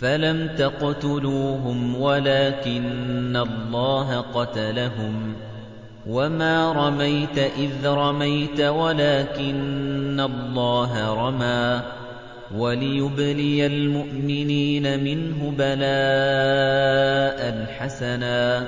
فَلَمْ تَقْتُلُوهُمْ وَلَٰكِنَّ اللَّهَ قَتَلَهُمْ ۚ وَمَا رَمَيْتَ إِذْ رَمَيْتَ وَلَٰكِنَّ اللَّهَ رَمَىٰ ۚ وَلِيُبْلِيَ الْمُؤْمِنِينَ مِنْهُ بَلَاءً حَسَنًا ۚ